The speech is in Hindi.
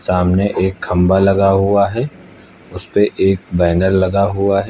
सामने एक खंभा लगा हुआ है उस पे एक बैनर लगा हुआ है।